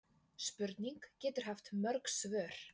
Spurning getur haft mörg svör.